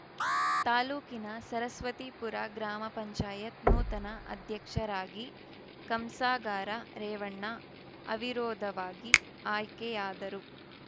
ತಾಲೂಕಿನ ಸರಸ್ವತಿಪುರ ಗ್ರಾಮ ಪಂಚಾಯತ್ ನೂತನ ಅಧ್ಯಕ್ಷರಾಗಿ ಕಂಸಾಗಾರ ರೇವಣ್ಣ ಅವಿರೋಧವಾಗಿ ಆಯ್ಕೆಯಾದರು